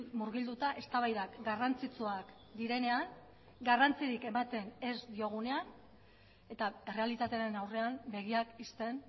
murgilduta eztabaidak garrantzitsuak direnean garrantzirik ematen ez diogunean eta errealitatearen aurrean begiak ixten